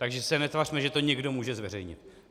Takže se netvařme, že to někdo může zveřejnit.